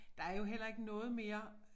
Der er jo heller ikke noget mere